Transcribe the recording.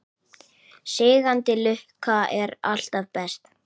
Sígandi lukka er alltaf best.